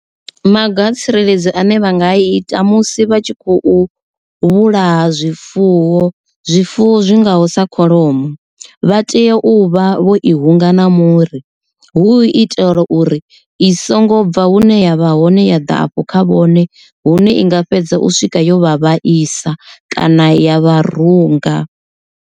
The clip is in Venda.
Maga a tsireledzo ane vha nga ita musi vha tshi khou vhulaha zwifuwo, zwifuwo zwi ngaho sa kholomo. Vha tea u vha vho i hunga na muri hu itela uri i songo bva hune ya vha hone ya ḓa afho kha vhone hune i nga fhedza u swika yo vha vhaisa kana ya vharunga.